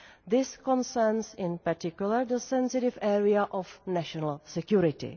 This concerns in particular the sensitive area of national security.